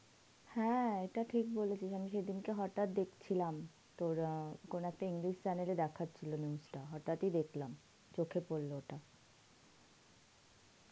হ্যাঁ এইটা ঠিক বলেছিস আমি সে দিন কে হটাৎ দেখছিলাম তোর অ্যাঁ কোন একটা english chanel দেখছিলো ওই news টা হটাৎ ই দেখলাম চোখে পড়ল ওটা.